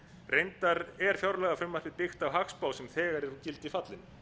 reyndar er fjárlagafrumvarpið byggt á hagspá sem þegar er úr gildi fallin